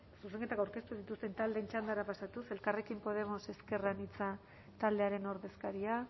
zuzenketak aurkeztu dituzten taldeen txandara pasatuz elkarrekin podemos ezker anitza taldearen ordezkaria